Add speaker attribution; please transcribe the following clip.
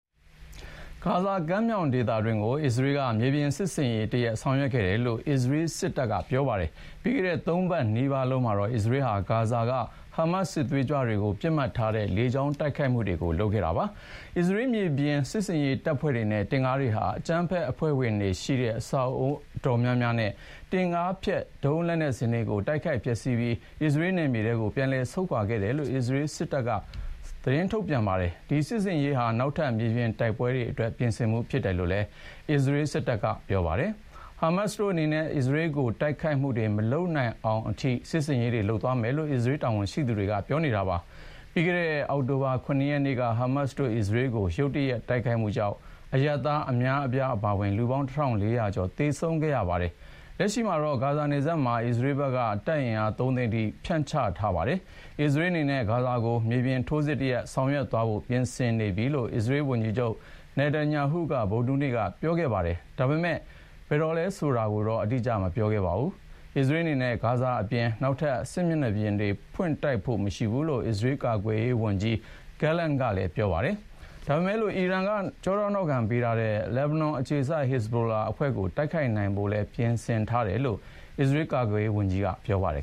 Speaker 1: ဂါဇာကမ်းမြောင်ဒေသတွင်းကို အစ္စရေးက မြေပြင်စစ်ဆင်ရေးတရပ် ဆောင်ရွက်ခဲ့တယ်လို့ အစ္စရေးစစ်တပ်က ပြောပါတယ်။ ပြီးခဲ့တဲ့သုံးပတ်နီးပါးလုံးမှာတော့ အစ္စရေးဟာ ဂါဇာက ဟားမတ်စ် စစ်သွေးကြွတွေကို ပစ်မှတ်ထားတဲ့ လေကြောင်းတိုက်ခိုက်မှုတွေ လုပ်ခဲ့တာပါ။ အစ္စရေးမြေပြင်စစ်ဆင်ရေးတပ်ဖွဲ့တွေနဲ့ တင့်ကားတွေဟာ အကြမ်းဖက်အဖွဲ့ဝင်တွေ အဆောက်အဦိးအတော်များများနဲ့ တင့်ကားဖျက် ဒုံးလက်နက်စင်တွေကို တိုက်ခိုက်ဖျက်ဆီးပြီး အစ္စရေးနယ်မြေထဲ ပြန်လည်ဆုတ်ခွာခဲ့တယ်လို့ အစ္စရေးစစ်တပ်က ထုတ်ပြန်ပြောဆိုပါတယ်။ ဒီစစ်ဆင်ရေးဟာ နောက်ထပ်မြေပြင်တိုက်ပွဲအတွက် ပြင်ဆင်မှုဖြစ်တယ်လို့လည်း အစ္စရေးစစ်တပ်က ပြောပါတယ်။ ဟားမတ်စ်တို့အနေနဲ့ အစ္စရေးကို တိုက်ခိုက်မှုတွေ မလုပ်နိုင်တော့အောင်အထိ စစ်ဆင်ရေးတွေ လုပ်သွားမယ်လို့ အစ္စရေးတာဝန်ရှိသူတွေက ပြောထားပါတယ်။ ပြီးခဲ့တဲ့ အောက်တိုဘာ ၇ ရက်နေ့က ဟားမတ်စ်တို့ အစ္စရေးကို ရုတ်တရက်တိုက်ခိုက်မှုကြောင့် အရပ်သားအများအပြားအပါအ၀င် လူပေါင်း ၁,၄၀၀ ကျော်သေဆုံးခဲ့ရတာပါ။ လက်ရှိမှာတော့ ဂါဇာနယ်စပ်မှာ အစ္စရေးဘက်က တပ်အင်အား သုံးသိန်းအထိကို တပ်ဖြန့်ချထားပါတယ်။ အစ္စရေးအနေနဲ့ ဂါဇာကို မြေပြင်ထိုးစစ်တရပ်ဆောင်ရွက်သွားဖို့ ပြင်ဆင်နေပြီလို့ အစ္စရေးဝန်ကြီးချုပ် Benjamin Nethanyahu က ဗုဒ္ဓဟူးနေ့က ပြောခဲ့ပါတယ်။ ဒါပေမယ့် ဘယ်တော့လဲဆိုတာကိုတော့ အတိအကျမပြောခဲ့ပါဘူး။ အစ္စရေးအနေနဲ့ ဂါဇာအပြင် နောက်ထပ်စစ်မျက်နှာပြင်တွေ ဖွင့်တိုက်ဖို့ မရှိဘူးလို့ အစ္စရေးကာကွယ်ရေးဝန်ကြီး Yoav Gallant ကပြောထားပါတယ်။ ဒါပေမယ့်လို့ အီရန်က နောက်ခံပေးထားတဲ့ လက်ဘနွန်အခြေစိုက် ဟက်ဇ်ဘိုလာအဖွဲ့ကို တိုက်ခိုက်နိုင်ဖို့လည်း ပြင်ဆင်ထားတယ်လို့တော့ အစ္စရေးကာကွယ်ရေးဝန်ကြီးက ပြောပါတယ်